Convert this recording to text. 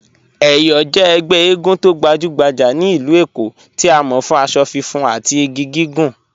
Eyọ jẹ̀ ègbè ègún tó gbajùgbàjà ní ilú Èkó tí a mọ̀ fún àṣọ fùnfun àti igi gígùn